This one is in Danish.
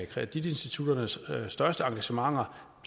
kreditinstitutternes største engagementer